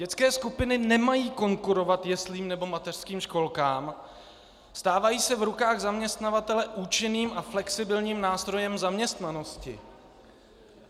Dětské skupiny nemají konkurovat jeslím nebo mateřským školkám, stávají se v rukách zaměstnavatele účinným a flexibilním nástrojem zaměstnanosti.